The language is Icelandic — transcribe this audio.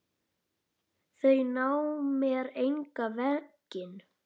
Þau ná mér engan veginn.